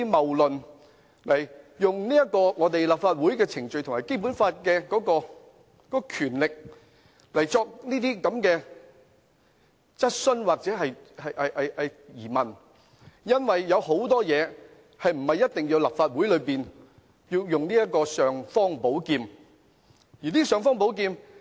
他們透過立法會的程序和《基本法》的權力提出這些質詢或疑問，但其實很多事情也不一定要動用立法會的尚方寶劍。